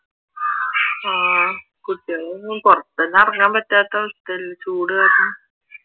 ആഹ് കുട്ടികളെ ഒന്നും പുറത്തൊന്നും ഇറങ്ങാൻ പറ്റാത്ത അവസ്ഥ അല്ലെ ചൂട് കാരണം